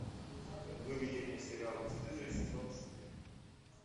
выведи мне сериал бесстыжие сезон четыре